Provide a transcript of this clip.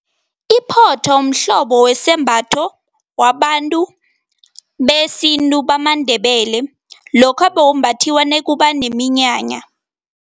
Iphotho mhlobo wesembatho wabantu besintu bamaNdebele, lokha bewumbathiwa nakuba neminyanya.